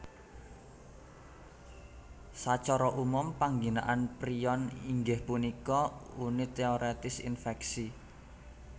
Sacara umum pangginaan prion inggih punika unit téorètis infèksi